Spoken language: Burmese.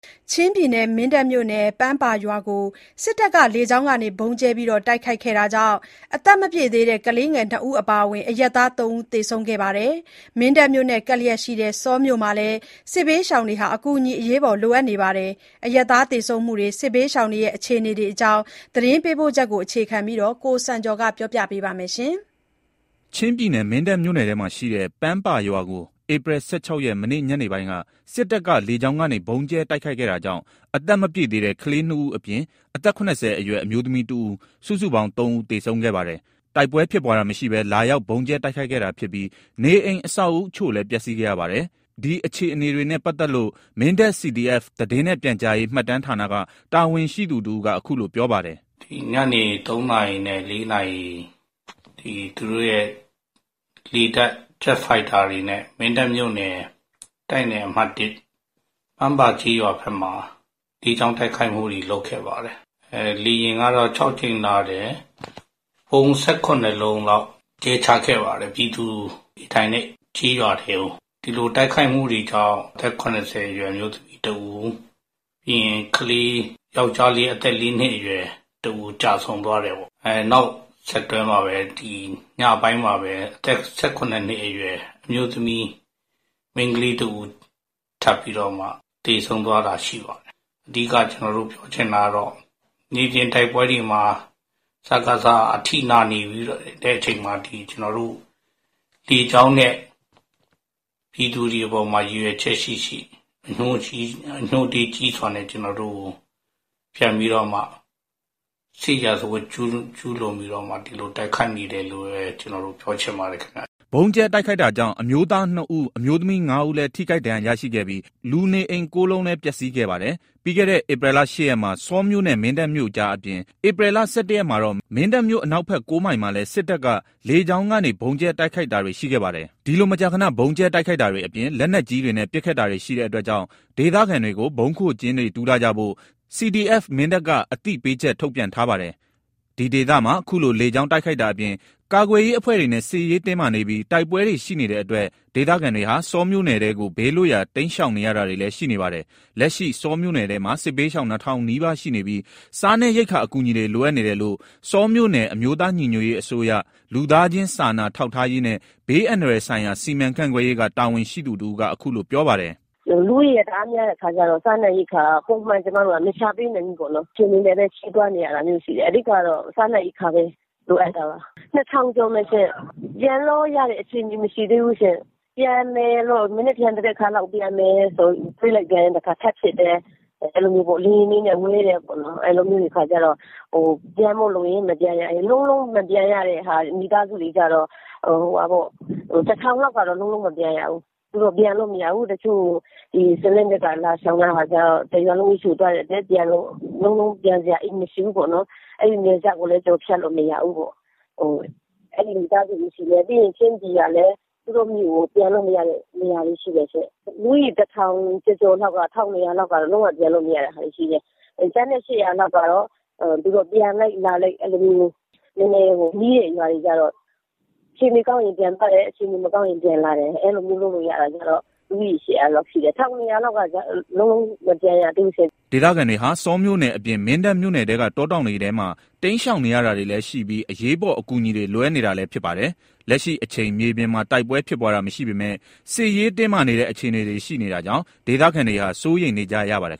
ချင်းပြည်နယ်၊ မင်းတပ်မြို့နယ်၊ ပန်းပါ ရွာကို စစ်တပ်က လေကြောင်းကနေ ဗုံးကြဲတိုက်ခိုက်တာကြောင့် အသက်မပြည့်သေးတဲ့ ကလေး ၂ ဦး အပါအဝင် အရပ်သား ၃ ဦး သေဆုံးခဲ့ရပါတယ်။ မင်းတပ်မြို့နဲ့ ကပ်လျက်ရှိတဲ့ ဆောမြို့မှာလည်း စစ်ဘေးရှောင်တွေ အကူအညီ လိုအပ်နေပါတယ်။ အရပ်သား သေဆုံးတာတွေအပြင် စစ်ဘေးရှောင်အခြေအနေတွေရဲ့ အခြေအနေအကြောင်း သတင်းပေးပို့ထားတာကို အခြေခံပြီး ကိုစံကျော်က တင်ပြပေးပါမယ်။ ချင်းပြည်နယ်၊ မင်းတပ်မြို့နယ်ထဲမှာရှိတဲ့ ပန်းပါရွာကို ဧပြီ ၁၆ ရက်၊ မနေ့ ညနေပိုင်းက စစ်တပ်က လေကြောင်းကနေ ဗုံးကြဲ တိုက်ခိုက်ခဲ့တာကြောင့် အသက်မပြည့်သေးတဲ့ ကလေးငယ် ၂ ဦးအပြင် အသက် ၇၀ အရွယ်အမျိုးသမီး ၁ ဦး၊ စုစုပေါင်း ၃ ဦး သေဆုံးခဲ့ပါတယ်။ တိုက်ပွဲဖြစ်ပွားတာမရှိဘဲ လာရောက် ဗုံးကြဲတိုက်ခိုက်ခဲ့တာဖြစ်ပြီး နေအိမ် အဆောက်အဦးအချို့လည်း ပျက်ဆီးခဲ့ရပါတယ်။ ဒီအခြေနေတွေနဲ့ ပတ်သက်လို့ မင်းတပ် CDF သတင်းနဲ့ပြန်ကြားရေး မှတ်တမ်းဌာနက တာဝန်ရှိသူတဦးက အခုလို ပြောပါတယ်။ “ညနေ ၃ နာရီနဲ့ ၄ နာရီ သူတို့ရဲ့ ဂျက်ဖိုက်တာတွေနဲ့ မင်းတပ်မြို့နယ် တိုက်နယ်အမှတ် ၁ ပန်းပါ ကျေးရွာဘက်မှာ လေကြောင်း တိုက်ခိုက်မှုတွေ လုပ်ခဲ့ပါတယ်။ လေယာဉ်ကတော့ ၆ ကြိမ်လာတယ်၊ ဗုံး ၁၇ လုံးလောက် ကြဲချခဲ့ပါတယ်။ ပြည်သူနေထိုင်တဲ့ ကျေးရွာထဲကို ဒီလို တိုက်ခိုက်မှုတွေကြောင့် အသက် ၇၀ အရွယ် အမျိုးသမီး ၁ ဦး၊ ပြီးရင်ကလေး ယောက်ကျားလေး အသက် ၄ နှစ်အရွယ် ၁ ဦး၊ ကျဆုံးသွားတယ်ပေါ့။ နောက်ဆက်တွဲမှာပဲ ညပိုင်းမှာပဲ အသက် ၁၇ နှစ်အရွယ် အမျိုးသမီး မိန်းကလေး ၁ ဦး ထပ်ပြီး သေဆုံးသွားတာ ရှိပါတယ်။ အဓိက ကျွန်တော်တို့ ပြောချင်တာက မြေပြင်တိုက်ပွဲတွေမှာ စကစ က အထိနာနေတဲ့အချိန်မှာ ကျွန်တော်တို့ကို လေကြောင်းနဲ့ ပြည်သူတွေအပေါ်မှာ ရည်ရွယ်ချက်ရှိရှိ အညှိုးအတေးကြီးစွာနဲ့ ကျွန်တော်တို့ကို ပြန်ပြီး စစ်ရာဇဝတ် ကျူးလွန်ပြီး ဒီလို တိုက်ခိုက်နေတာလို့ ပြောချင်ပါတယ်။” ဗုံးကြဲတိုက်ခိုက်တာကြောင့် အမျိုးသား ၂ ဦး အမျိုးသမီး ၅ ဦးလည်း ထိခိုက်ဒဏ်ရာရရှိခဲ့ပြီး လူနေအိမ် ၉ လုံးလည်း ပျက်စီးခဲ့ပါတယ်။ ပြီးခဲ့တဲ့ ဧပြီလ ၈ ရက်မှာ ဆောမြို့နဲ့ မင်းတပ်မြို့ကြားအပြင်၊ ဧပြီလ ၁၁ ရက်မှာတော့ မင်းတပ်မြို့ အနောက်ဖက် ၉ မိုင်တို့မှာလည်း စစ်တပ်က လေကြောင်းကနေ ဗုံးကြဲတိုက်ခိုက်တာတွေ ရှိခဲ့ပါတယ်။ ဒီလို မကြာခဏ ဗုံးကြဲတိုက်ခိုက်တာတွေအပြင် လက်နက်ကြီးတွေနဲ့ ပစ်ခတ်တာတွေ ရှိတဲ့အတွက်ကြောင့် ဒေသခံတွေကို ဗုံးခိုကျင်းတွေ တူးထားကြဖို့ CDF မင်းတပ်က အသိပေးချက် ထုတ်ပြန်ထားပါတယ်။ ဒီဒေသမှာ အခုလို လေကြောင်းတိုက်ခိုက်တာအပြင် ကာကွယ်ရေးအဖွဲ့တွေနဲ့ စစ်ရေးတင်းမာနေပြီး တိုက်ပွဲတွေရှိနေတဲ့အတွက် ဒေသခံတွေဟာ ဆောမြို့နယ်ထဲကို ဘေးလွတ်ရာ တိမ်းရှောင်နေရတာတွေလည်း ရှိနေပါတယ်။ လက်ရှိ ဆောမြို့နယ်ထဲမှာ စစ်ဘေးရှောင် ၂ ထောင်နီးပါးရှိနေပြီး စားနပ်ရိက္ခာ အကူအညီတွေ လိုအပ်နေတယ်လို့ ဆောမြို့နယ် အမျိုသားညီညွတ်ရေးအစိုးရ လူသားချင်းစာနာ ထောက်ထားရေးနဲ့ ဘေးအန္တရာယ်ဆိုင်ရာ စီမံခန့်ခွဲရေးက တာဝန်ရှိသူ တဦးက အခုလို ပြောပြပါတယ်။ “လူဦးရေက တအားများတဲ့အခါကျတော့ ကျွန်မတို့က စားနပ်ရိက္ခာ ပုံမှန် မရှာပေးနိုင်ဘူးပေါ့နော်။ အလှူရှင်တွေနဲ့ပဲ ချိတ်သွားနေရတာရှိတယ်။ အဓိက စားနပ်ရိက္ခာပဲ လိုအပ်တာပါ။ ၂ ထောင်ကျော်မယ်။ ပြန်လို့ရမယ့်အခြေအနေ မရှိသေးဘူး။ မနက်ဖြန်၊ သဖက်ခါလောက် ပြန်မယ်ဆိုရင် ထပ်ဖြစ်တယ်။ လေယာဉ်တွေနဲ့ဝဲတယ်။ အဲ့လိုမျိုးတွေဆိုတော့ ပြန်ဖို့လုပ်ရင်း မပြန်ရရင်းနဲ့ လုံးလုံးမပြန်ရတဲ့ မိသားစုတွေက ၁ ထောင်လောက်က လုံးလုံးပြန်မရဘူး။ စလင်းဘက်ကနေ လာရှောင်တဲ့ဟာတွေကြတော့ တရွာလုံး မီးရှို့သွားတဲ့အတွက် လုံးလုံးပြန်စရာ အိမ်မရှိတော့ဘူးပေါ့နော်။ အဲ့နယ်စပ်ကိုလည်း ဖြတ်ကျော်လို့မရဘူးပေါ့။ အဲ့မိသားစုတွေရှိမယ်။ ပြီးရင် ချင်းပြည်ကလည်း သူတို့မြို့ကို ပြန်လို့မရတဲ့ နေရာတွေရှိတယ်။ လူဦးရေ ၁ ထောင်ကျော်ကျော် ၁,၂၀၀ လောက်က လုံးလုံး ပြန်မရတဲ့အနေအထားမှာရှိတယ်။ ကျန်တဲ့ ၈၀၀ လောက်က နည်းနည်းနီးတဲ့နေရာတွေက ပြန်လိုက်၊ လာလိုက် နည်းနည်းနီးတဲ့ရွာတွေက အခြေအနေကောင်းရင် ပြန်သွားတယ်။” ဒေသခံတွေဟာ ဆောမြို့နယ်အပြင် မင်းတပ်မြို့နယ်ထဲက တောတောင်တွေထဲမှာ တိမ်းရှောင်နေရတာတွေလည်းရှိပြီး အရေးအပေါ် အကူအညီတွေ လိုအပ်နေတာလည်း ဖြစ်ပါတယ်။ လက်ရှိအချိန် မြေပြင်မှာ တိုက်ပွဲဖြစ်ပွားတာ မရှိပေမယ့် စစ်ရေးတင်းမာနေတဲ့ အခြေအနေတွေ ရှိတာကြောင့် ဒေသခံတွေဟာ စိုးရိမ်နေကြပါတယ်